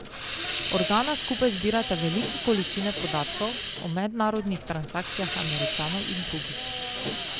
Organa skupaj zbirata velike količine podatkov o mednarodnih transakcijah Američanov in drugih.